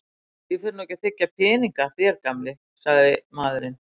Ég fer nú ekki að þiggja peninga af þér sagði gamli maðurinn.